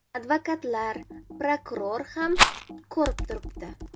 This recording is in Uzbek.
Advokatlar, prokuror ham ko‘rib turibdi.